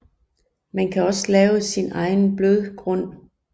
Man kan også lave sin egen blødgrund